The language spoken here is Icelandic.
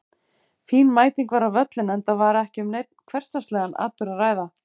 Fín mæting var á völlinn enda var ekki um neinn hversdagslegan atburð að ræða.